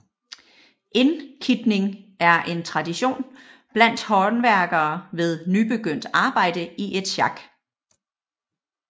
Indkitning er en tradition blandt håndværkere ved nybegyndt arbejde i et sjak